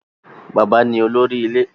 Bàbá ni olórí ilé.